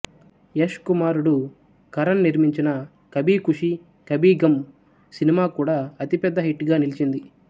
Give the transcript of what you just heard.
యష్ కుమారుడు కరణ్ నిర్మించిన కభీకుషీ కభీగమ్ సినిమా కూడా అతి పెద్ద హిట్ గా నిలిచింది